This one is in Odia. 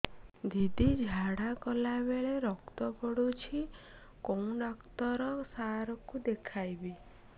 ଦିଦି ଝାଡ଼ା କଲା ବେଳେ ରକ୍ତ ପଡୁଛି କଉଁ ଡକ୍ଟର ସାର କୁ ଦଖାଇବି